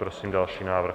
Prosím další návrh.